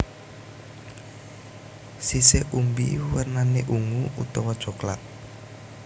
Sisik umbi wernané ungu utawa coklat